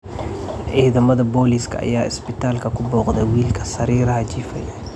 Ciidamada booliska ayaa isbitaalka ku booqday wiilka sariiraha jiifay.